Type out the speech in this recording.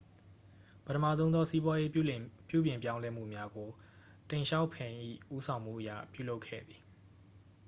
ပထမဆုံးသော စီးပွားရေး ပြုပြင်ပြောင်းလဲမှုများကို တိန့်ရှောင်ဖိန်၏ ဦးဆောင်မှုအရ ပြုလုပ်ခဲ့သည်